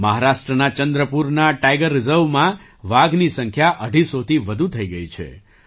મહારાષ્ટ્રના ચંદ્રપુરના ટાઇગર રિઝર્વમાં વાઘની સંખ્યા અઢીસોથી વધુ થઈ ગઈ છે